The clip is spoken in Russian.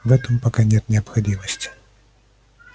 в этом пока нет необходимости